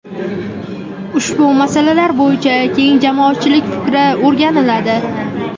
ushbu masalalar bo‘yicha keng jamoatchilik fikri o‘rganiladi;.